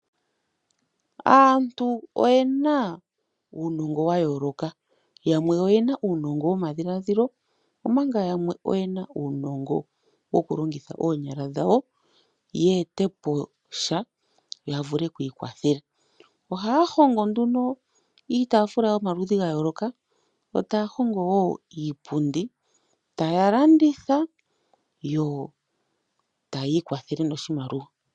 Aantu oyena uunongo wayooloka yamwe oyena uunongo womadhiladhilo nayamwe oyena uunongo wokulongitha oonyala dhawo ya etepo sha ya vule okwiikwathela. Ohaya hongo iitaafula yomaludhi gayooloka yo taya hongo woo iipundi. Etaya landitha yo taya ikwathele noshimaliwa.